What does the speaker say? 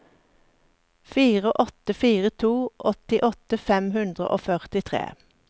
fire åtte fire to åttiåtte fem hundre og førtitre